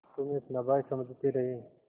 तुम्हें अपना भाई समझते रहे